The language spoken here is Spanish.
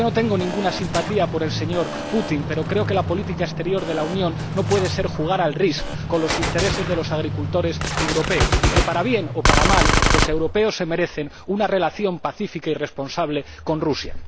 Yo no tengo ninguna simpatía por el señor Putin, pero creo que la política exterior de la Unión no puede ser jugar al Risk con los intereses de los agricultores europeos y que, para bien o para mal, los europeos se merecen una relación pacífica y responsable con Rusia.